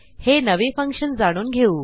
हे नवे फंक्शन जाणून घेऊ